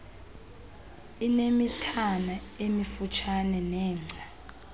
inemithana emifutshane nengca